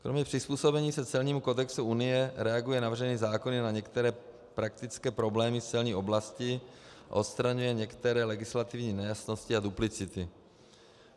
Kromě přizpůsobení se celnímu kodexu Unie reaguje navržený zákon na některé praktické problémy z celní oblasti a odstraňuje některé legislativní nejasnosti a duplicity.